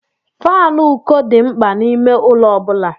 Faanụ ụkọ dị mkpa n'ime ụlọ ọ bụla.